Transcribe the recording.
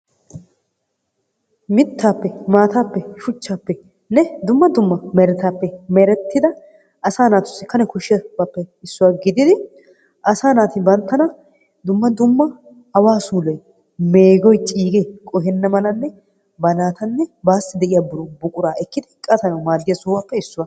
Mittaappe maataapeenne shuchchaappenne dumma dumma meretaappe nerettida asaa naatuusi kane koshshiyabappe issuwa gidid asaa naati banttana dumma dumma awaa suuloy meegiy ciigee qohena malanne banatanne baassi de'iyaa buqura ekkidi qatanawu maadiyaa sohuwaappe issuwa.